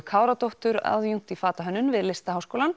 Káradóttur aðjúnkt í fatahönnun við